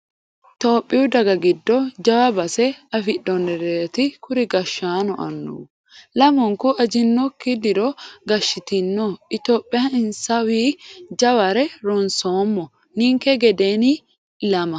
Tophiyu dage giddo jawa base afidhinoreti kuri gashshaano annuwu lamunku ajinokki diro gashshitino itophiya insawi jaware ronsoommo ninke gedeni ilama.